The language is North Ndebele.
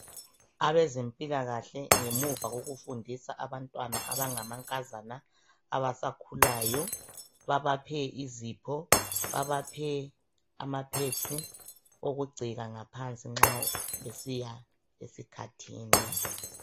Abezempilakahle ngemuva kokufundisa abantwana abangamankazana abasakhulayo babaphe izipho, babaphe amapads okugcika ngaphansi nxa besiya eskhathini.